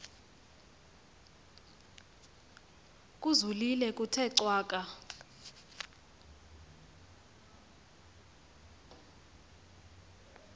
kuzolile kuthe cwaka